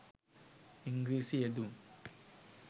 ඉංග්‍රීසි යෙදුම්